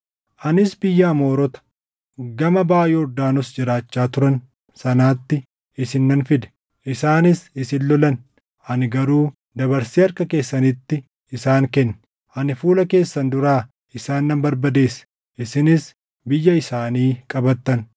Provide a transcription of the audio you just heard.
“ ‘Anis biyya Amoorota gama baʼa Yordaanos jiraachaa turan sanaatti isin nan fide. Isaanis isin lolan; ani garuu dabarsee harka keessanitti isaan kenne. Ani fuula keessan duraa isaan nan barbadeesse; isinis biyya isaanii qabattan.